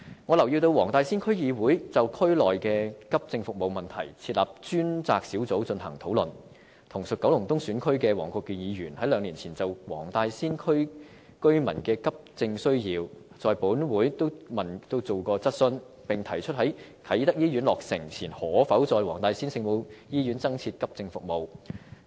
我留意到黃大仙區議會就區內的急症服務問題設立專責小組進行討論，而同屬九龍東選區的黃國健議員兩年前亦曾就黃大仙區居民的急症需要在本會提出質詢，並提出在啟德醫院落成前可否在黃大仙聖母醫院增設急症服務。